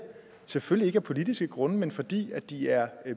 selvfølgelig ikke af politiske grunde men fordi de er